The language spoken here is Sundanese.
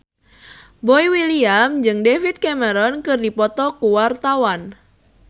Boy William jeung David Cameron keur dipoto ku wartawan